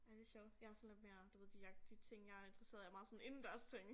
Ej det sjovt jeg sådan lidt mere du ved de jeg de ting jeg interesseret i er meget sådan indendørsting